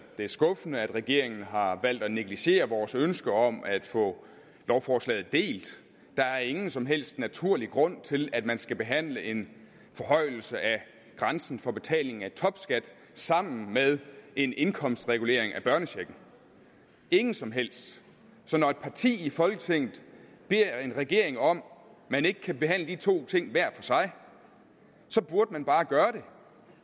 er skuffende at regeringen har valgt at negligere vores ønske om at få lovforslaget delt der er ingen som helst naturlig grund til at man skal behandle en forhøjelse af grænsen for betaling af topskat sammen med en indkomstregulering af børnechecken ingen som helst så når et parti i folketinget beder en regering om om man ikke kan behandle de to ting hver for sig burde man bare gøre det